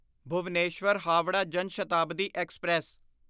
Bhubaneswar Howrah Jan Shatabdi express